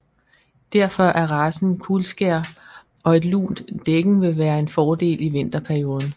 Derfor er racen kuldskær og et lunt dækken vil være en fordel i vinterperioden